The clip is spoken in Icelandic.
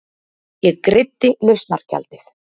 Ég greiddi lausnargjaldið.